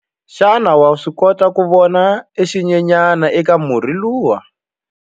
Xana wa swi kota ku vona xinyenyana eka murhi lowuya?